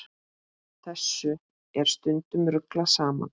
Þessu er stundum ruglað saman.